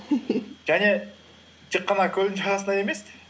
және тек қана көлдің жағасында емес